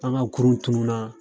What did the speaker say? An ka kurun tununnaa